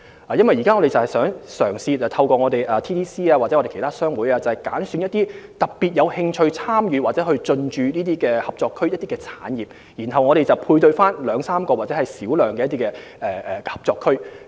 我們現正嘗試透過貿發局或其他商會，挑選一些特別有興趣參與或進駐合作區的產業，將之與2至3個或較小量的合作區配對。